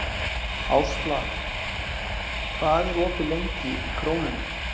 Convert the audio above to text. Ásla, hvað er opið lengi í Krónunni?